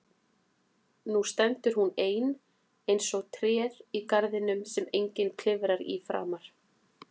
Nú stendur hún ein eins og tréð í garðinum sem enginn klifrar í framar.